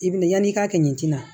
I bi yan'i ka kɛ ɲɛti la